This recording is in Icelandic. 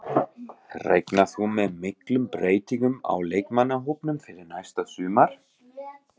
Reiknar þú með miklum breytingum á leikmannahópnum fyrir næsta sumar?